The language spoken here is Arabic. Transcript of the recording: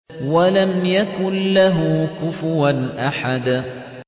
وَلَمْ يَكُن لَّهُ كُفُوًا أَحَدٌ